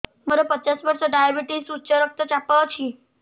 ମୋର ପଚାଶ ବର୍ଷ ଡାଏବେଟିସ ଉଚ୍ଚ ରକ୍ତ ଚାପ ଅଛି